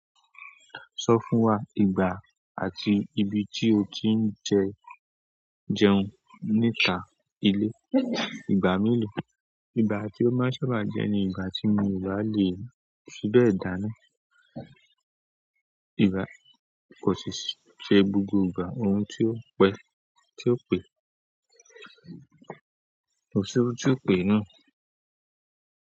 Sọ fún wa ìgbà àti ibi tí o ti ń jẹun nípa ilé. Ìgbà mélòó? Ìgbà tí o máa ń sábà jẹ ni ìgbà tí mo ìbá lè síbẹ̀ dáná. Ìgbà kò ṣe gbogbo ìgbà, ohun tí ó pẹ̀, tí ó pe, òṣùrú tí ó pe náà.